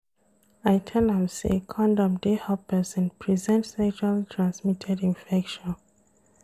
I tell you sey condom dey help pesin present sexually transmitted infection.